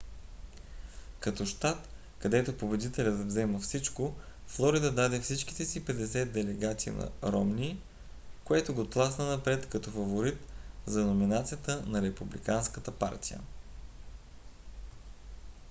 като щат където победителят взима всичко флорида даде всичките си 50 делегати на ромни което го тласна напред като фаворит за номинацията на републиканската партия